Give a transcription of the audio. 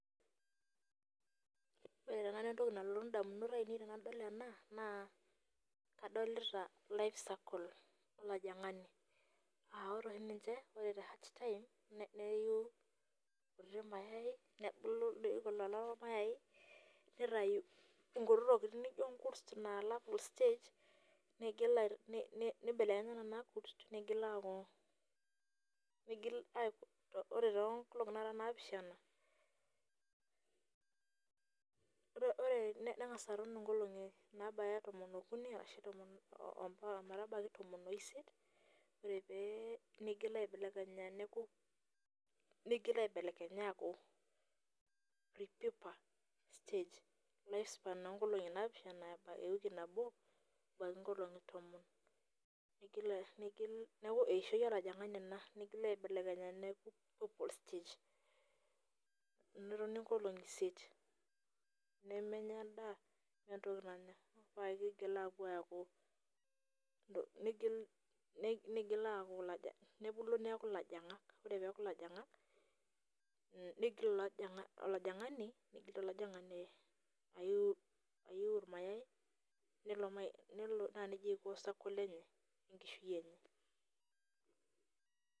Ore tenakata entoki nalotu indamunot aainei tenadol ena naa kadolita life circle olajing'ani aa ore oshi ninche neiu irkuti mayai nebulu neitayu inkutitik tokitin naijio inkurt alfu stage neigil nkibelekenya nena kurt neigil aaaku ore toonkolong'i naara naapishana neng'as aton inkolong'i naara tomon okuni ometabaiki tomon oisiet neigil aibelekenya neeku neigil aibelekenya aaku prepeuper stage ewiki nabo ebaiki inkolong'i tomon neigil neeku eishio olajing'ani ena neigil aibelekenya neeku pepol stage netuni inkolong'i isiet nemenya endaa meeta entoki nanya ore akee peigil aapuo aaku neigil aaku ilajing'ak nebulu neeku ilajing'ak ore peeku ilajing'ak neigil olajing'ani aiu irmayai naajia eiko circle olajing'ani